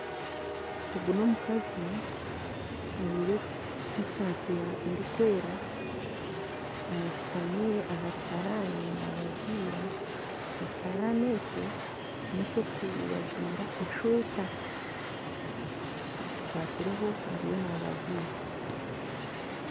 Ogu n'omukazi ajwaire esaati erikwera ashutami aha kiharani nabazira ekiharani ekyo n'eky'okubaziira eshweta agikwasireho ariyo naabazira